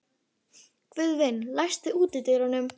Guðvin, læstu útidyrunum.